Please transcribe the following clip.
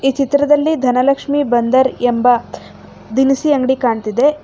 ಈ ಚಿತ್ರದಲ್ಲಿ ಧನಲಕ್ಷ್ಮಿ ಬಂದರ್ ಎಂಬ ದಿನಸಿ ಅಂಗಡಿ ಕಾಣತ್ತಿದೆ.